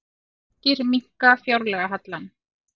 Grikkir minnka fjárlagahallann